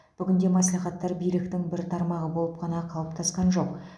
бүгінде мәслихаттар биліктің бір тармағы болып қана қалыптасқан жоқ